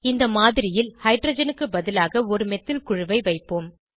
இந்த மாதிரியில் ஹைட்ரஜனுக்கு பதிலாக ஒரு மெத்தில் குழுவை வைப்போம்